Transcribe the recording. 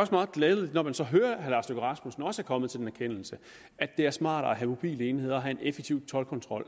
også meget glædeligt når man så hører at herre lars løkke rasmussen også er kommet til den erkendelse at det er smartere at have mobile enheder og have en effektiv toldkontrol